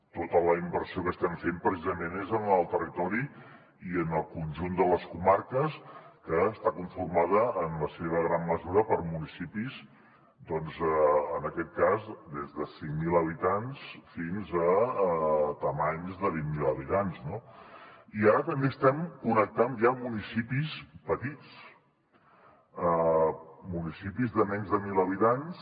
tota la inversió que estem fent precisament és en el territori i en el conjunt de les comarques que està conformat en la seva gran mesura per municipis doncs en aquest cas des de cinc mil habitants fins a grandàries de vint mil habitants no i ara també estem connectant ja municipis petits municipis de menys de mil habitants